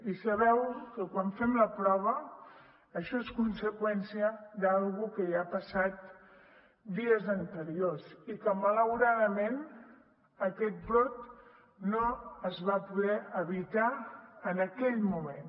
i sabeu que quan fem la prova això és conseqüència d’alguna cosa que ja ha passat dies anteriors i que malauradament aquest brot no es va poder evitar en aquell moment